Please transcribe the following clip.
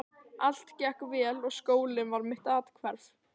Allt gekk vel og skólinn var mitt athvarf.